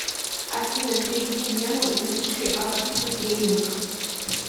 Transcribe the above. афина переведи дену и напиши апатиты тренинг